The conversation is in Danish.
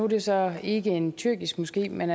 det så ikke en tyrkisk moské men